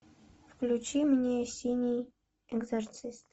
включи мне синий экзорцист